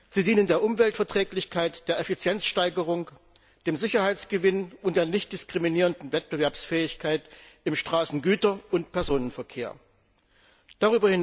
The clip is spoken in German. Sie dienen der Umweltverträglichkeit, der Effizienzsteigerung, dem Sicherheitsgewinn und der nicht diskriminierenden Wettbewerbsfähigkeit im Güter und Personenverkehr auf der Straße.